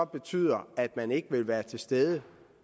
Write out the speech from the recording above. betyder at man ikke vil være til stede